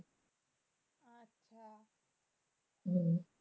হম